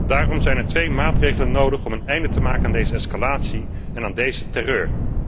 Daarom zijn er twee maatregelen nodig om een einde te maken aan deze escalatie en aan deze terreur